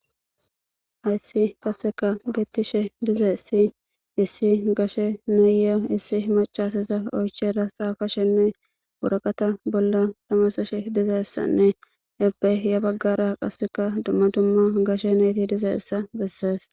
hayssi qasseka gettishe dizaessi issi gashe neye issi macaseza oychera xaafa shenne wuraqata bolla tamasashe dizeessanne ebbeya baggara qasseka dumma dumma gashe nayti dize issa bessees